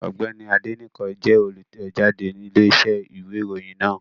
Ọ̀gbẹ́ni Adénẹ́kàn jẹ́ olùtẹ̀jáde Iléeṣẹ́ ìwé ìròyìn náà